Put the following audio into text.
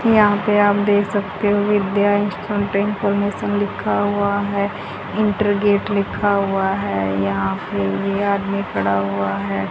यहां पे आप देख सकते हो विद्या इंस्टीट्यूट इनफॉरमेशन लिखा हुआ है इंटर गेट लिखा हुआ है यहां पे ये आदमी खड़ा हुआ है।